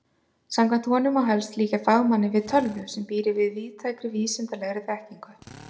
Samkvæmt honum má helst líkja fagmanni við tölvu sem býr yfir víðtækri vísindalegri þekkingu.